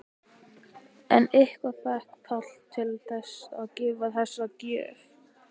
En hvað fékk Pál til þess að gefa þessa gjöf?